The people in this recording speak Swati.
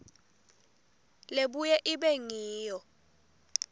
lebuye ibe ngiyo